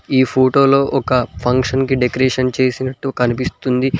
ఈ ఫోటోలో ఒక ఫంక్షన్ కి డెకరేషన్ చేసినట్టు కనిపిస్తుంది.